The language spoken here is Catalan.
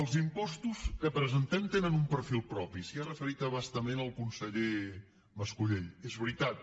els impostos que presentem tenen un perfil propi s’hi ha referit a bastament el conseller mascolell és veritat